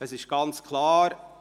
Es ist ganz klar: